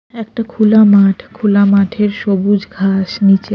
একটা খোলা মাঠ খোলা মাঠের সবুজ ঘাস নীচে --